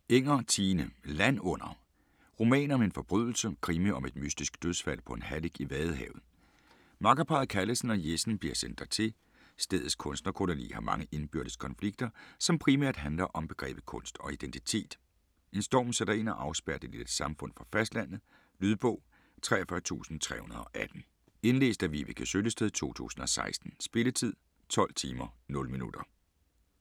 Enger, Tine: Land under: roman om en forbrydelse Krimi om et mystisk dødsfald på en hallig i Vadehavet. Makkerparret Callesen og Jessen bliver sendt dertil. Stedets kunstnerkoloni har mange indbyrdes konflikter, som primært handler om begrebet kunst og identitet. En storm sætter ind og afspærrer det lille samfund fra fastlandet. Lydbog 43318 Indlæst af Vibeke Søllested, 2016. Spilletid: 12 timer, 0 minutter.